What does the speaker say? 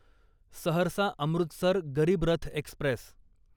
Saharsa Amritsar Garib Rath Express